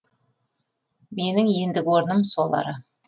менің ендігі орным сол ара